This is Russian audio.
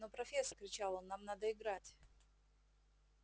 но профессор кричал он нам надо играть